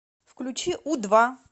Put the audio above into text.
включи у два